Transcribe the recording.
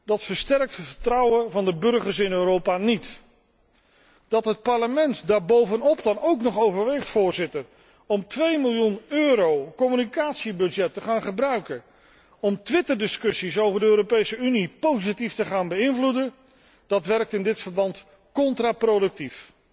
Dat versterkt het vertrouwen van de burgers in Europa niet. Dat het Parlement daar bovenop dan ook nog overweegt om 2 miljoen euro communicatiebudget te gebruiken om twitterdiscussies over de Europese Unie positief te beïnvloeden, werkt in dit verband contraproductief.